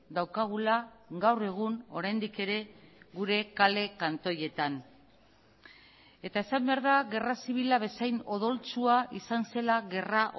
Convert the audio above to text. daukagula gaur egun oraindik ere gure kale kantoietan eta esan behar da gerra zibila bezain odoltsua izan zela gerra